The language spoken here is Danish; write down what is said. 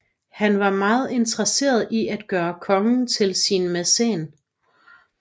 Han var meget interesseret i at gøre kongen til sin mæcen